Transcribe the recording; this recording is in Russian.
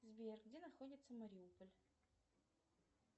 сбер где находится мариуполь